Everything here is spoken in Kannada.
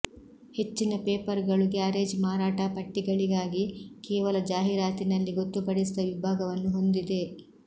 ಹೆಚ್ಚಿನ ಪೇಪರ್ಗಳು ಗ್ಯಾರೇಜ್ ಮಾರಾಟ ಪಟ್ಟಿಗಳಿಗಾಗಿ ಕೇವಲ ಜಾಹೀರಾತಿನಲ್ಲಿ ಗೊತ್ತುಪಡಿಸಿದ ವಿಭಾಗವನ್ನು ಹೊಂದಿವೆ